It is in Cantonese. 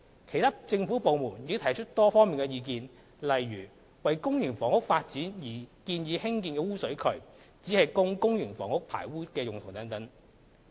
其他政府部門亦提出多方面的意見，例如：為公營房屋發展而建議興建污水渠，只供公營房屋排污之用等。